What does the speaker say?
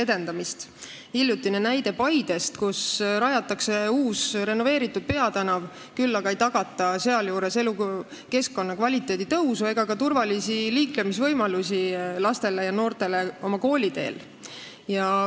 Võtame hiljutise näite Paidest, kuhu rajatakse uus renoveeritud peatänav, sealjuures aga ei tagata elukeskkonna kvaliteedi tõusu ega ka turvalisi liiklemisvõimalusi lastele ja noortele nende kooliteel.